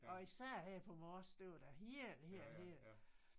Og især her på Mors det var da hel hel hel